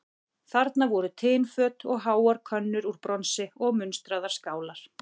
Þarna voru tinföt og háar könnur úr bronsi og munstraðar skálar.